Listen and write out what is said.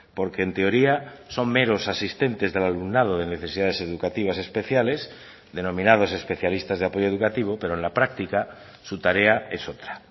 porque en teoría son meros asistentes del alumnado de necesidades educativas especiales denominados especialistas de apoyo educativo pero en la práctica su tarea es otra